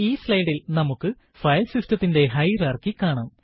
ഈ slide ൽ നമുക്ക് ഫയൽ സിസ്റ്റത്തിന്റെ ഹയറാർക്കി കാണാം